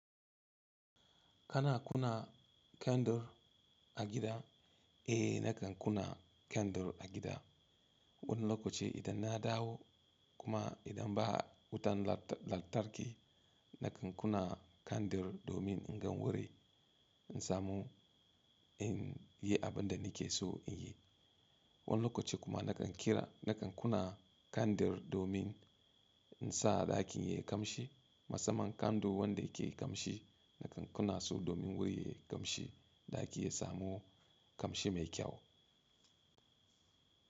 Kana kunna kyandur a gida? Eh nakan kunna kyandur a gida. Wani lokaci idan na dawo kuma idan ba wutan lantarki nakan kunna kyandur domin in gan wuri in samu in yi abin da nake so in yi. Wani lokaci kuma nakan kira nakan kuna kyandur domin in sa ɗakin yayi kamshi. Masaman kyandur wanda yake kamshi nakan kuna su domin wurin yayi kamshi, ɗaki yayi samu kamshi mai kyau.